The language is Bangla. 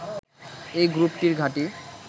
এই গ্রুপটির ঘাঁটি